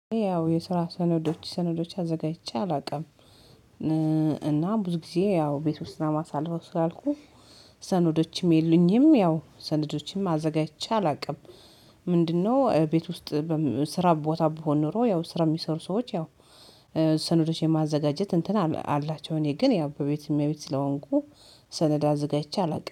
ያው የስራ ሰነዶች ሰነዶች አዘጋጅቼ አላውቅም እና ብዙ ጊዜ ያው ቤት ውስጥ እማሳለፈው ነው ስላልኩ ሰነዶችም የሉኝም፤ ያው ሰነዶችም አዘጋጅቼ አላውቅም፤ ምንድነው ቤት ውስጥ ስራ ቦታ ብሆን ኖሮ ያው ስራ የሚሰሩ ሰዎች ያው ሰነዶች የማዘጋጀት እንትን አላቸው፤ እኔ ግን በቤት እመቤት ስለሆንኩ ሰነድ አዘጋጅቼ አላውቅም።